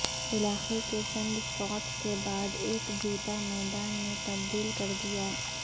علاقے کے چند شاٹس کے بعد ایک جوتا میدان میں تبدیل کر دیا